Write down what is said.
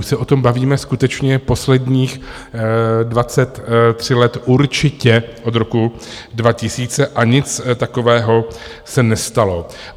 Už se o tom bavíme skutečně posledních 23 let, určitě od roku 2000, a nic takového se nestalo.